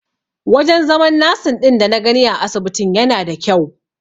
Wajen zaman nasin ɗin dana gani a asibitin yana da kyau.